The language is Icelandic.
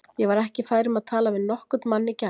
Ég var ekki fær um að tala við nokkurn mann í gær.